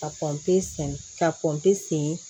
Ka sen ka kɔnpe sen